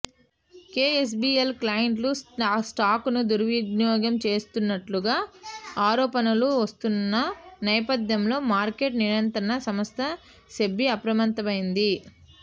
KSBL క్లయింట్ల స్టాక్స్ను దుర్వినియోగం చేసినట్టుగా ఆరోపణలు వస్తున్న నేపథ్యంలో మార్కెట్ నియంత్రణ సంస్థ సెబీ అప్రమత్తమైంది